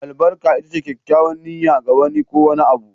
Albarka ita ce kyakkyawar niyya, ga wani ko wani abu